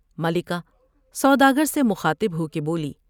ملکہ سوداگر سے مخاطب ہو کے بولی ۔